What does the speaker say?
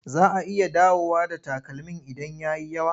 Za a iya dawowa da takalmin idan ya yi yawa.